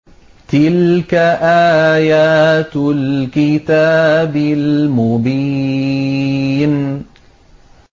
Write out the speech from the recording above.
تِلْكَ آيَاتُ الْكِتَابِ الْمُبِينِ